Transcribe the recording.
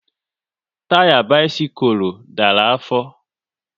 Taya bisikul dara afọ